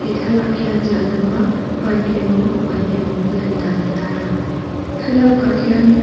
thlalak hian zan lama park emaw huan emaw lan dan a tarlang thlalak ah hian--